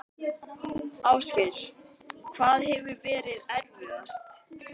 Ásgeir: Hvað hefur verið erfiðast?